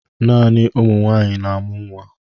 Naanị ụmụ nwaanyị na-amụ nwa.